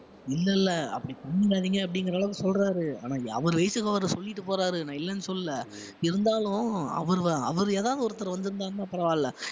இல்லை இல்லை அப்படி பண்ணிடாதீங்க அப்படிங்கிற அளவுக்கு சொல்றாரு ஆனா அவர் வயசுக்கு அவரு சொல்லிட்டு போறாரு நான் இல்லைன்னு சொல்லல இருந்தாலும் அவர் வ~ அவர் ஏதாவது ஒருத்தர் வந்திருந்தாருன்னா பரவாயில்லை